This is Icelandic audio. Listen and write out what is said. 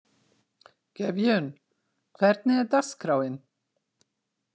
Gefjun, hvernig er dagskráin?